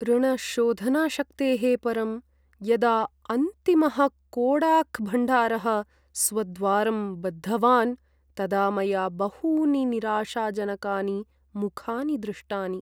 ऋणशोधनाशक्तेः परं यदा अन्तिमः कोडाक्भण्डारः स्वद्वारं बद्धवान् तदा मया बहूनि निराशाजनकानि मुखानि दृष्टानि।